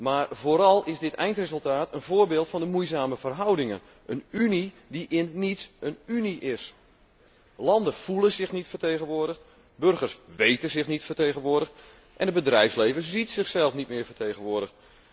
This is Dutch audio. Maar vooral is dit eindresultaat een voorbeeld van de moeizame verhoudingen een Unie die geen Unie is. Landen voelen zich niet vertegenwoordigd, burgers weten zich niet vertegenwoordigd en het bedrijfsleven ziet zichzelf niet meer vertegenwoordigd.